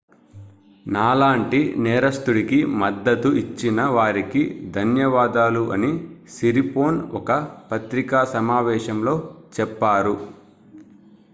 నాలాంటి నేరస్తుడికి మద్దతు ఇచ్చిన వారికి ధన్యవాదాలు అని సిరిపోర్న్ ఒక పత్రికా సమావేశంలో చెప్పారు